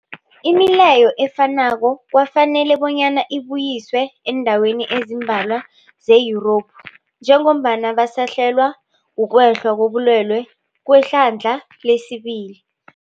Imileyo efanako kwafanela bonyana ibuyiswe eendaweni ezimbalwa ze-Yurophu njengombana basahlelwa, kukwehla kobulwele kwehlandla lesibili.